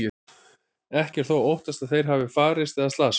Ekki er þó óttast að þeir hafi farist eða slasast.